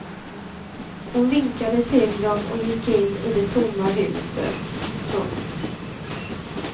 Hon vinkade till dem och gick in i det tomma huset. punkt